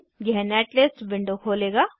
यह netlist window खोलेगा